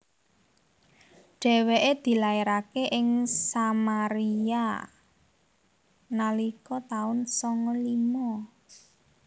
Dhèwèké dilairaké ing Samaria nalika taun sanga lima